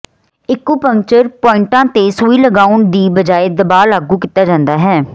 acupuncture ਪੁਆਇੰਟਾਂ ਤੇ ਸੂਈ ਲਗਾਉਣ ਦੀ ਬਜਾਏ ਦਬਾਅ ਲਾਗੂ ਕੀਤਾ ਜਾਂਦਾ ਹੈ